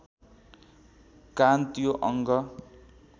कान त्यो अङ्ग